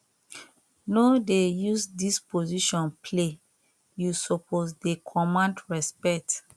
no dey use dis position play you suppose dey command respect